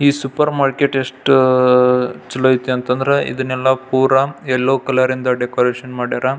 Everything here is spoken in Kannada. ಈ ಸೂಪರ್ ಮಾರ್ಕೆಟ್ ಎಷ್ಟ್ ಅಹ್ ಚಲೋ ಅಯ್ತಿ ಅಂದ್ರೆ ಇದನೆಲ್ಲ ಪುರ ಯಲ್ಲೋ ಕಲರ್ ಇಂದ ಡೆಕೋರೇಷನ್ ಮಾಡ್ಯಾರ.